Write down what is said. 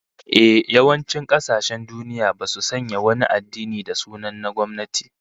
Ehh, yawancin kasashen duniya basu sanya wani addini da sunan na gwamnati